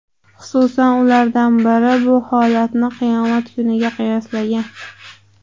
Xususan, ulardan biri bu holatni qiyomat kuniga qiyoslagan.